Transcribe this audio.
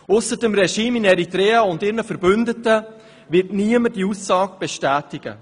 Ausser dem Regime in Eritrea und ihren Verbündeten wird niemand diese Aussage bestätigen.